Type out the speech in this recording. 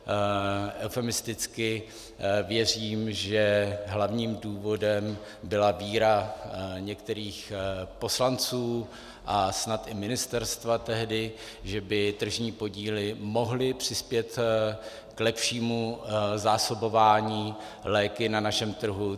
Eufemisticky věřím, že hlavním důvodem byla víra některých poslanců a snad i ministerstva tehdy, že by tržní podíly mohly přispět k lepšímu zásobování léky na našem trhu.